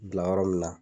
Bila yɔrɔ min na